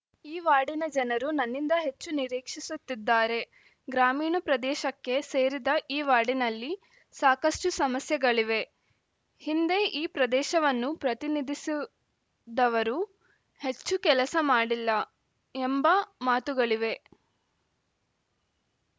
ಈ ವಾರ್ಡಿನ ಜನರೂ ನನ್ನಿಂದ ಹೆಚ್ಚು ನಿರೀಕ್ಷಿಸುತ್ತಿದ್ದಾರೆ ಗ್ರಾಮೀಣ ಪ್ರದೇಶಕ್ಕೆ ಸೇರಿದ ಈ ವಾರ್ಡಿನಲ್ಲಿ ಸಾಕಷ್ಟುಸಮಸ್ಯೆಗಳಿವೆ ಹಿಂದೆ ಈ ಪ್ರದೇಶವನ್ನು ಪ್ರತಿನಿಧಿಸುದವರು ಹೆಚ್ಚು ಕೆಲಸ ಮಾಡಿಲ್ಲ ಎಂಬ ಮಾತುಗಳಿವೆ